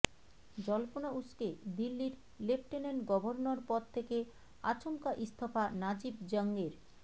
জল্পনা উসকে দিল্লির লেফটেন্যান্ট গভর্নর পদ থেকে আচমকা ইস্তফা নাজিব জংয়ের